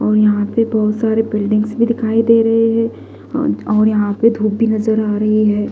और यहां पे बहोत सारे बिल्डिंग भी दिखाई दे रहे हैं और यहां पे धूप भी नजर आ रही है।